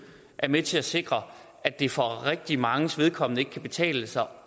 er med til at sikre at det for rigtig manges vedkommende ikke kan betale sig